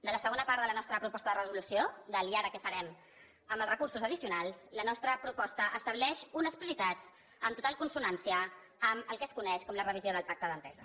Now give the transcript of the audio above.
de la segona part de la nostra proposta de resolució de l’ i ara què farem amb els recursos addicionals la nostra proposta estableix unes prioritats en total consonància amb el que es coneix com la revisió del pacte d’entesa